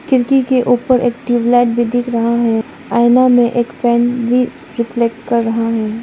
खिड़की के ऊपर एक ट्यूबलाइट भी दिख रहा है आईना में एक फैन भी रिफ्लेक्ट कर रहा है।